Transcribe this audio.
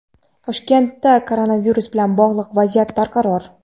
Toshkentda koronavirus bilan bog‘liq vaziyat barqaror.